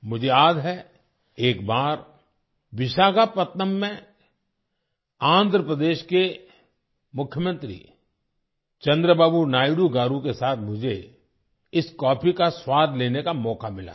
मुझे याद है एक बार विशाखापत्नम में आंध्र प्रदेश के मुख्यमंत्री चंद्रबाबू नायडू गारु के साथ मुझे इस कॉफी का स्वाद लेने का मौका मिला था